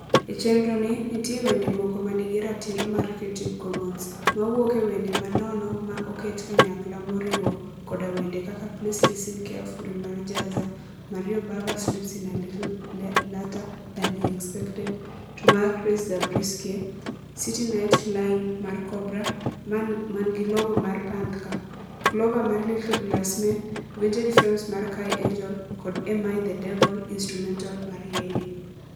E chendroni nitie wende moko ma nigi ratiro mar Creative Commons, mawuok ewende ma nono ma oket kanyakla moriwo koda wende kaka Please Listen Carefully mar Jahzaar; Mario Bava Sleeps In a Little Later Than He Expected To mar Chris Zabriskie; City Night Line mar Cobra (man gi logo mar panthčre); Clover mar Little Glass Men; Vintage Frames mar Kai Engel; kod Am I The Devil (Instrumental) mar YEYEY.